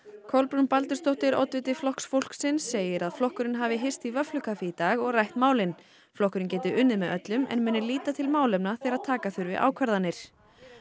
Kolbrún Baldursdóttir oddviti Flokks fólksins segir að flokkurinn hafi hist í vöfflukaffi í dag og rætt málin flokkurinn geti unnið með öllum en muni líta til málefna þegar taka þurfi ákvarðanir